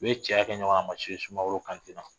U ye cɛya kɛ ɲɔgɔn na a ma se sumaworo kante la